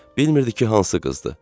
Bilmirdi ki, hansı qızdır.